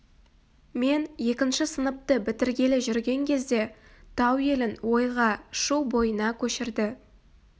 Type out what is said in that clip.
мен екінші сыныпты бітіргелі жүрген кезде тау елін ойға шу бойына көшірді